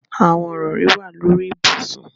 Awọn irọri wa lori ibusun